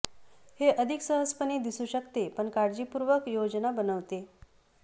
हे अधिक सहजपणे दिसू शकते पण काळजीपूर्वक योजना बनवते